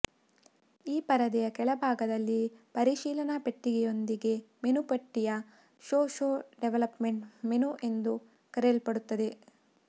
ಈ ಪರದೆಯ ಕೆಳಭಾಗದಲ್ಲಿ ಪರಿಶೀಲನಾ ಪೆಟ್ಟಿಗೆಯೊಂದಿಗೆ ಮೆನು ಪಟ್ಟಿಯ ಶೋ ಶೋ ಡೆವಲಪ್ಮೆಂಟ್ ಮೆನು ಎಂದು ಕರೆಯಲ್ಪಡುತ್ತದೆ